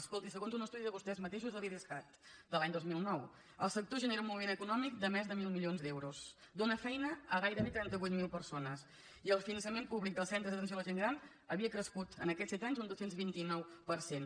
escolti segons un estudi de vostès mateixos de l’idescat de l’any dos mil nou el sector genera un moviment econòmic de més de mil milions d’euros dóna feina a gairebé trenta vuit mil persones i el finançament públic dels centres d’atenció a la gent gran havia crescut en aquests set anys un dos cents i vint nou per cent